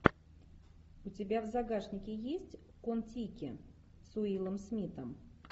у тебя в загашнике есть кон тики с уиллом смитом